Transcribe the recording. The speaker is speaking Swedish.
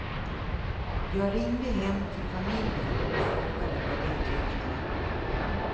Jag ringde hem till familjen och frågade vad de tyckte.